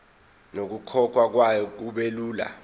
nokukhokhwa kwayo kubelula